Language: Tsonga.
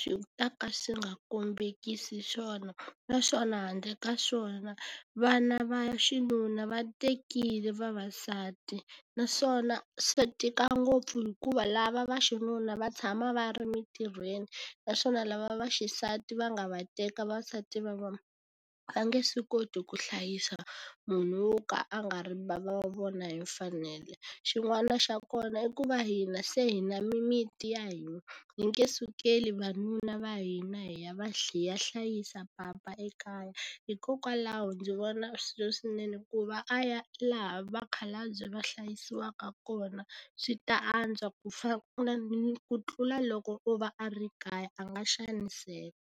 swi ta ka swi nga kombekisi swona. Naswona handle ka swona vana va xinuna va tekile vavasati, naswona swi tika ngopfu hikuva lava vaxinuna va tshama va ri emintirhweni, naswona lava vaxisati va nga va teka vasati va vona, va nge swi koti ku hlayisa munhu wo ka a nga ri bava wa vona hi mfanelo. Xin'wana xa kona i ku va hina se hi na mimiti ya hina, hi nge sukeli vanuna va hina hi ya va hi ya hlayisa papa ekaya, hikokwalaho ndzi vona swi ri swinene ku va a ya laha vakhalabye va hlayisiwaka kona. Swi ta antswa ku ku tlula loko o va a ri kaya, a nga xaniseka.